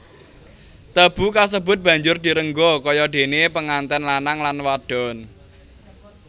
Tebu kasebut banjur direngga kaya dene penganten lanang lan wadon